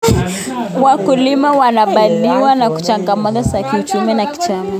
Wakulima wanakabiliwa na changamoto za kiuchumi na kijamii.